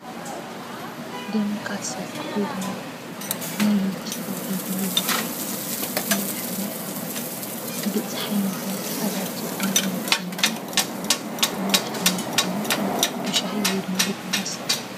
ደመካሴ ወይድማ ናይ ምቺ ተባሂሉ ዝወሃብ መድሓኒት ብፀሓይ ምክንያት ኣለርጂክ ንዝመፀና መድሓኒት ከይኑ ብሻሂ ወይድማ ብቡና ይስተ።